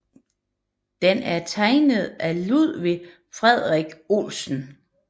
Den er tegnet af Ludvig Frederik Olesen